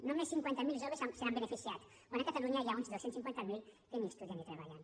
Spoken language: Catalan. només cinquanta miler joves se n’han beneficiat quan a catalunya hi ha uns dos cents i cinquanta miler que ni estudien ni treballen